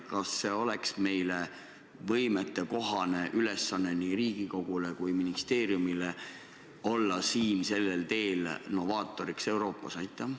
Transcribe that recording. Kas see oleks võimetekohane ülesanne nii Riigikogule kui ministeeriumile olla sellel teel novaatoriks Euroopas?